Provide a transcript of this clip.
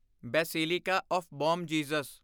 basilica of Bom Jesus